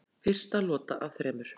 Fyrsta lota af þremur